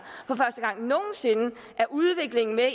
er udvikling med